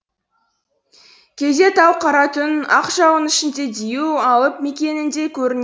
кейде тау қара түн ақ жауынның ішінде дию алып мекеніндей көрін